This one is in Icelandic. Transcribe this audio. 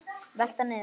Velta niður.